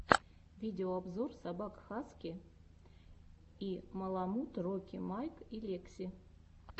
видеообзор собак хаски и маламут рокки майк и лекси